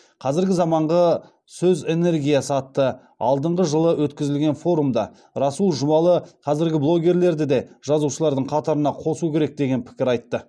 қазіргі заманғы сөз энергиясы атты алдыңғы жылы өткізілген форумда расул жұбалы қазіргі блогерлерді де жазушылардың қатарына қосу керек деген пікір айтты